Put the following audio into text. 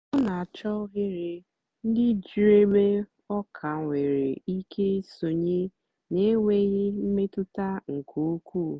ọ na-àchọ́ òghèrè ndí dị́ jụ́ụ́ ébè ọ ka nwèrè ìké ìsònyè na-ènwèghị́ mmètụ́tà nkè ùkwuù.